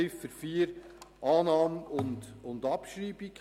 Ziffer 4: Annahme und Abschreibung.